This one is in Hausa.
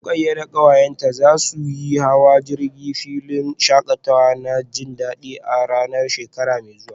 Rukayyah da kawayenta za su yi hawan jirgi a filin shakatawa na jabi a ranar asabar mai zuwa